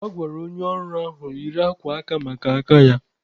A gwara onye ọrụ ahụ yiri akwa aka maka aka ya.